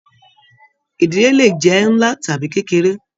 Ìdílé lè jẹ nlá tàbí kékeré.